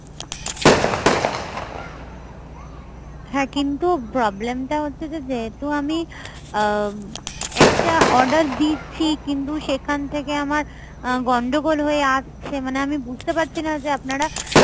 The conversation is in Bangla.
হ্যা কিন্তু problem টা হচ্ছে যে যেহেতু আমি আ~ একটা order দিচ্ছি কিন্তু সেখান থেকে আমার গন্ডগোল হয়ে আসছে মানে আমি বুজতে পারছি না যে আপনারা